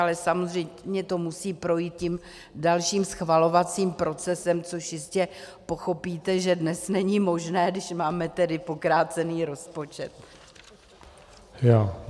Ale samozřejmě to musí projít tím dalším schvalovacím procesem, což jistě pochopíte, že dnes není možné, když máme tedy pokrácený rozpočet.